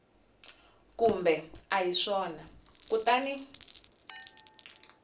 kumbe a hi swona kutani